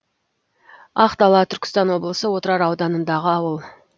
ақдала түркістан облысы отырар ауданындағы ауыл